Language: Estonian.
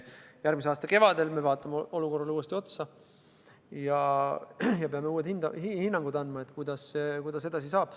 Järgmise aasta kevadel me vaatame olukorrale uuesti otsa ja peame andma uued hinnangud, kuidas edasi saab.